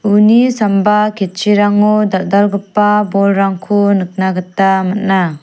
uni samba ketchirango dal·dalgipa bolrangko nikna gita man·a.